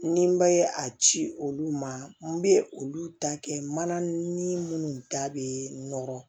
Ni n bɛ a ci olu ma n bɛ olu ta kɛ mana ni minnu ta bɛ nɔrɔ